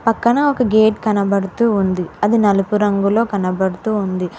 పక్కన ఒక గేట్ కనబడుతూ ఉంది. అది నలుపు రంగులో కనబడుతూ ఉంది.